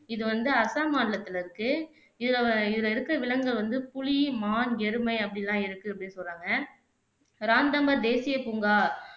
இது வந்து அஸ்ஸாம் மாநிலத்துல இருக்கு இதுல வ இதுல இருக்க விலங்குகள் வந்து புலி, மான், எருமை அப்படியெல்லாம் இருக்கு அப்படின்னு சொல்லுறாங்க ராந்தாம்போர் தேசிய பூங்கா